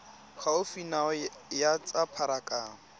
gaufi nao ya tsa pharakano